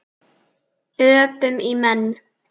Öpum í menn.